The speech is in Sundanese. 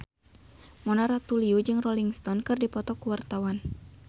Mona Ratuliu jeung Rolling Stone keur dipoto ku wartawan